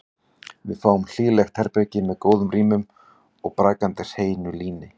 Við fáum hlýlegt herbergi með góðum rúmum og brakandi hreinu líni.